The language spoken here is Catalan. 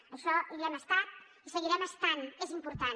en això hi hem estat i hi seguirem estant és important